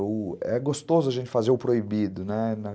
É gostoso a gente fazer o proibido, né?